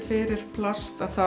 fyrir plast